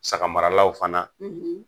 Sagamaralaw fana